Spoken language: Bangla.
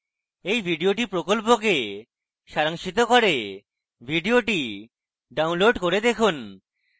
এই video প্রকল্পকে সারাংশিত করে video download করে দেখুন